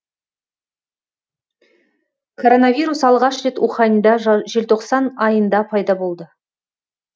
коронавирус алғаш рет уханьда желтоқсан айында пайда болды